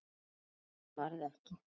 Úr þeim varð ekki.